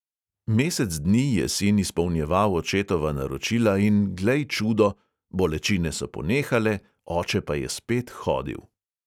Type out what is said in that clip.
Mesec dni je sin izpolnjeval očetova naročila in glej, čudo, bolečine so ponehale, oče pa je spet hodil.